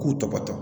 K'u tɔgɔtɔ